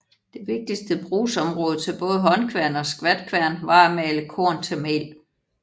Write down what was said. Det vigtige brugsområde til både håndkværn og skvatkværn var at male korn til mel